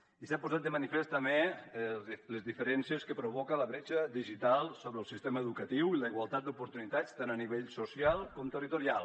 i s’han posat de manifest també les diferències que provoca la bretxa digital sobre el sistema educatiu i la igualtat d’oportunitats tant a nivell social com territorial